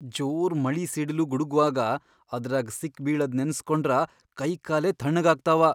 ಜೋರ್ ಮಳಿ ಸಿಡಿಲು ಗುಡಗ್ವಾಗ ಅದ್ರಾಗ್ ಸಿಕ್ಬೀಳದ್ ನೆನಸ್ಕೊಂಡ್ರ ಕೈಕಾಲೇ ಥಣ್ಣಗಾಗ್ತಾವ.